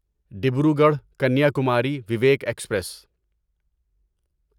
Dibrugarh Kanyakumari Vivek express